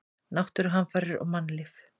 Náttúruhamfarir og mannlíf.